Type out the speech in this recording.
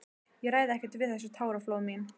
Ég ræð ekkert við þessi táraflóð mín.